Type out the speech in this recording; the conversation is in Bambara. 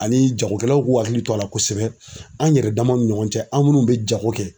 Ani jagokɛlaw k'u hakili to a la kosɛbɛ, an yɛrɛ damaw ni ɲɔgɔn cɛ an munnu be jago kɛ